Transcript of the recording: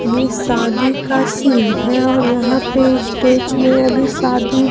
ये शादी का सीन है और यहां पे स्टेज में अभी शादी--